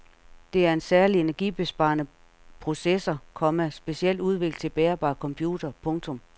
Det er en særlig energibesparende processor, komma specielt udviklet til bærbare computere. punktum